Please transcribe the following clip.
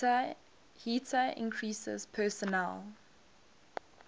heater increases personal